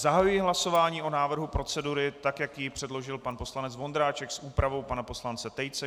Zahajuji hlasování o návrhu procedury, tak jak ji předložil pan poslanec Vondráček, s úpravou pana poslance Tejce.